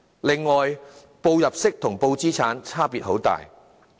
此外，申報入息與申報資產的差別很大。